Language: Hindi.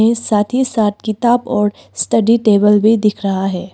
साथी साथ किताब और स्टडी टेबल भी दिख रहा है।